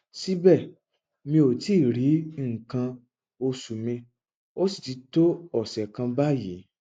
síbẹ mi ò tíì rí nǹkan oṣù mi ó sì ti tó ọsẹ kan báyìí